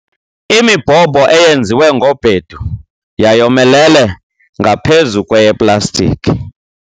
Imibhobho eyenziwe ngobhedu yayomelele ngaphezu kweyeplastikhi.